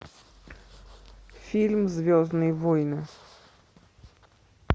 фильм звездные войны